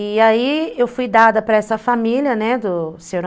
E aí eu fui dada para essa família, né, do seu